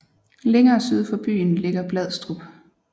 Længere syd for byen ligger Bladstrup